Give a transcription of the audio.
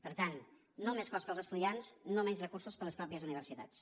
per tant no més cost per als estudiants no menys recursos per a les mateixes universitats